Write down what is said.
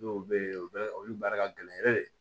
Dɔw bɛ yen u bɛ olu baara ka gɛlɛn